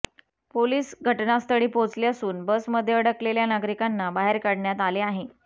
police घटनास्थळी पोहोचले असून बसमध्ये अडकलेल्या नागरिकांना बाहेर काढण्यात आले आहे